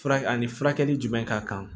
Fura ani furakɛli jumɛn ka kan